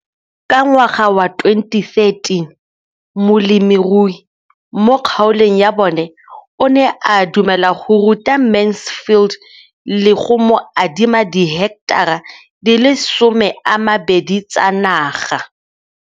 Ka ngwaga wa 2013, molemirui mo kgaolong ya bona o ne a dumela go ruta Mansfield le go mo adima di heketara di le 12 tsa naga.